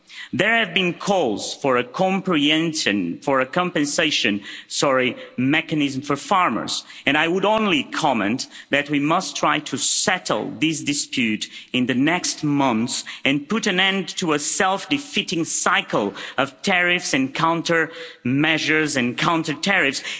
There have been calls for a compensation mechanism for farmers, and I would only comment that we must try to settle this dispute in the next months and put an end to a self defeating cycle of tariffs and countermeasures and counter tariffs.